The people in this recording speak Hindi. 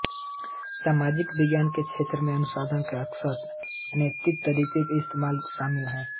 सामाजिक विज्ञान के क्षेत्र में अनुसंधान अकसर अनैतिक तरीकों का इस्तेमाल शामिल है